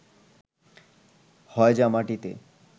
হয় যা মাটিতে